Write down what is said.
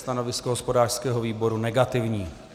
Stanovisko hospodářského výboru negativní.